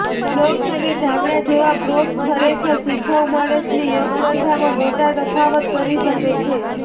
blocks અને ધાબળા જેવા પ્રોપ્સ ખરેખર શિખાઉ માણસની યોગ પ્રથામાં મોટા તફાવત કરી શકે છે